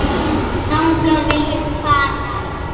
Þangað vil ég fara.